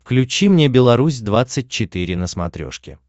включи мне беларусь двадцать четыре на смотрешке